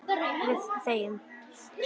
Við þegjum.